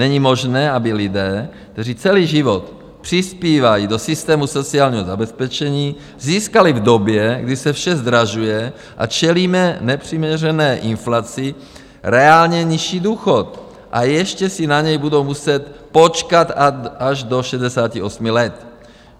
Není možné, aby lidé, kteří celý život přispívají do systému sociálního zabezpečení, získali v době, kdy se vše zdražuje a čelíme nepřiměřené inflaci, reálně nižší důchod, a ještě si na něj budou muset počkat až do 68 let.